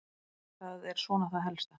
Það er svona það helsta.